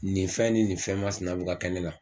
Nin fɛn ni nin fɛn ma sina be kɛ ne la